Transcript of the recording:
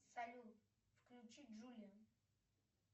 салют включи джулиан